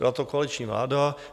Byla to koaliční vláda.